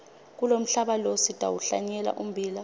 kulomhlaba lo sitawuhlanyela ummbila